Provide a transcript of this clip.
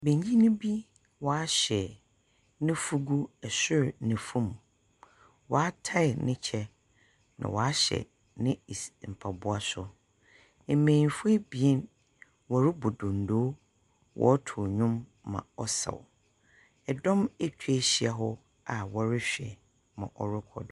Banyin bi waahyɛ ne fugu sor ne fom. Waatai ne kyɛ na waahyɛ ne mpaboa so. Banyin fo ebien wɔrebɔ dondoo, wɔɔtu ndwom ma ɔsaw. Ɛdom akwa ahyia hɔ aa wɔrehwɛ mɔ ɔrekɔdo.